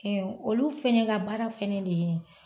Ɛɛ olu fɛnɛ ka baara fɛnɛ de ye